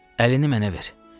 Əlini mənə ver.